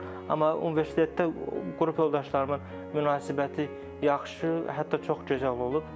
Amma universitetdə qrup yoldaşlarımın münasibəti yaxşı, hətta çox gözəl olub.